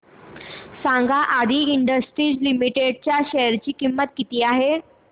सांगा Aadi Industries Limited च्या share ची किंमत किती आहे